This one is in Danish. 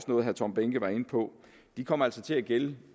noget herre tom behnke var inde på kommer altså til at gælde